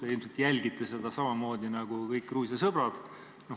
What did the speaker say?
Te ilmselt jälgite seda samamoodi nagu kõik Gruusia sõbrad.